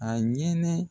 A ɲɛnɛ